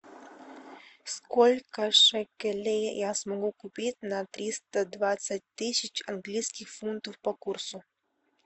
сколько шекелей я смогу купить на триста двадцать тысяч английских фунтов по курсу